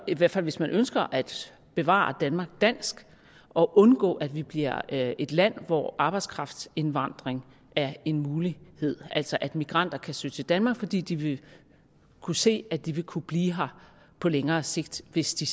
i hvert fald hvis man ønsker at bevare danmark dansk og undgå at vi bliver et land hvor arbejdskraftindvandring er en mulighed altså at migranter kan søge til danmark fordi de vil kunne se at de vil kunne blive her på længere sigt hvis de